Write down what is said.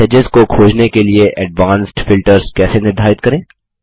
messages को खोजने के लिए एडवांस्ड फिल्टर्स कैसे निर्धारित करें